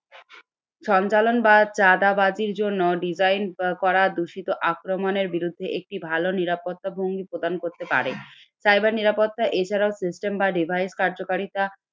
সঞ্চালন বা বাজির জন্য design করা দূষিত আক্রমণের বিরুদ্ধে একটি ভালো নিরাপত্তা ভঙ্গি প্রদান করতে পারে। Cyber নিরাপত্তা এছাড়াও system বা device কার্যকারিতা